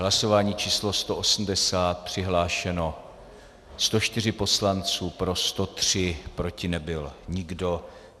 Hlasování číslo 180, přihlášeno 104 poslanců, pro 103, proti nebyl nikdo.